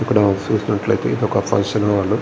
ఇక్కడ చూసినట్లైతే ఇదొక ఫంక్షన్ హాల్ .